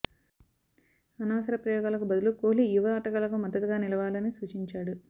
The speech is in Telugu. అనవసర ప్రయోగాలకు బదులు కోహ్లీ యువ ఆటగాళ్లకు మద్దతుగా నిలవాలని సూచించాడు